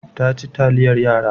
Ta ci taliyar yara.